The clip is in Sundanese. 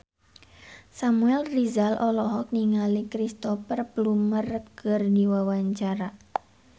Samuel Rizal olohok ningali Cristhoper Plumer keur diwawancara